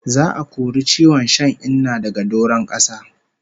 Za'a kori ciwon shan Inna daga doron kasa